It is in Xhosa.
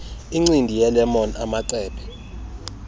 incindi yelemon amacephe